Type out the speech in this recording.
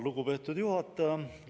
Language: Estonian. Lugupeetud juhataja!